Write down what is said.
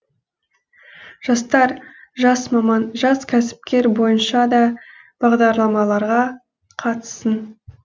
жастар жас маман жас кәсіпкер бойынша да бағдарламаларға қатыссын